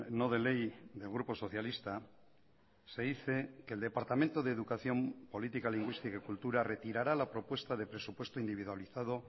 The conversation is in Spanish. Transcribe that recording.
no de ley del grupo socialista se dice que el departamento de educación política lingüística y cultura retirará la propuesta de presupuesto individualizado